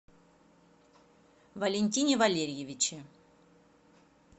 валентине валерьевиче